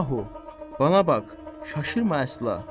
Yahu, bana bax, şaşırma əsla.